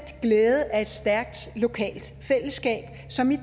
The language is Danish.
glæde af et stærkt lokalt fællesskab som i